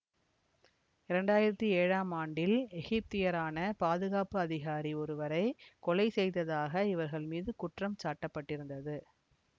இரண்டாயிரத்தி ஏழாம் ஆண்டில் எகிப்தியரான பாதுகாப்பு அதிகாரி ஒருவரை கொலை செய்ததாக இவர்கள் மீது குற்றம் சாட்டப்பட்டிருந்தது